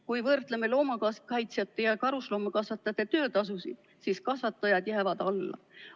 Kui võrdleme loomakaitsjate ja karusloomakasvatajate töötasusid, siis kasvatajad jäävad alla.